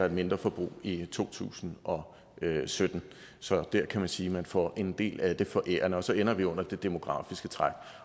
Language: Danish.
et mindre forbrug i to tusind og sytten så der kan man sige at man får en del af det forærende og så ender vi under det demografiske træk